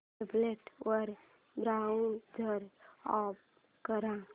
tablet वर browser open कर